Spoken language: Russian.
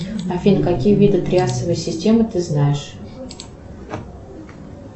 афина какие виды триасовой системы ты знаешь